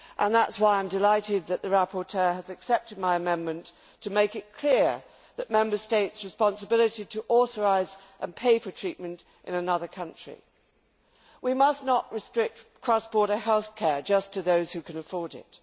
That is why I am delighted that the rapporteur has accepted my amendment to make it clear that Member States have a responsibility to authorise and pay for treatment in another country. We must not restrict cross border health care just to those who can afford it.